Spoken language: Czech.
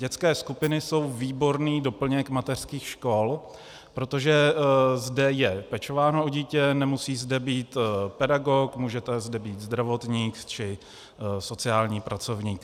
Dětské skupiny jsou výborný doplněk mateřských škol, protože zde je pečováno o dítě, nemusí zde být pedagog, může zde být zdravotník či sociální pracovník.